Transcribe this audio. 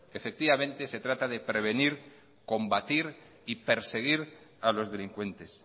efectivamente se trata de prevenir combatir y perseguir a los delincuentes